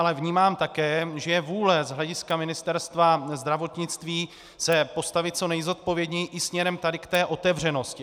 Ale vnímám také, že je vůle z hlediska Ministerstva zdravotnictví se postavit co nejzodpovědněji i směrem tady k té otevřenosti.